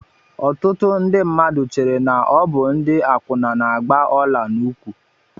Ọtụtụ ndị mmadụ chéré na ọ bụ ndị akwuna na-agba ọla n'ụkwụ